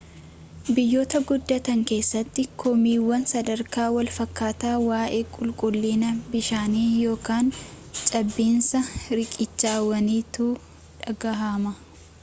biyyoota guddatan keessa komiiwwan sadarkaa walfakataa waa'ee qulquullinna bishaanii yookiin caabiinsa riqichawwaniitu dhagahama